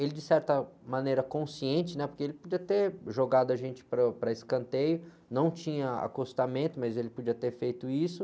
Ele, de certa maneira, consciente, né? Porque ele podia ter jogado a gente para o, para escanteio, não tinha acostamento, mas ele podia ter feito isso.